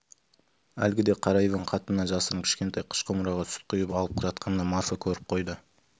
әлгіде қара иван қатынынан жасырып кішкентай қыш құмыраға сүт құйып алып жатқанда марфа көріп қойып